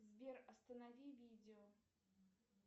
сбер останови видео